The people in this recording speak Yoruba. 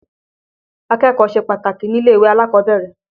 Akẹ́kọ̀ọ́ ṣe pàtàkì nílé-ìwé alákọ̀ọ́bẹ̀rẹ̀.